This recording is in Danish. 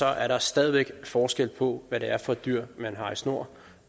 er der stadig væk forskel på hvad det er for et dyr man har i snor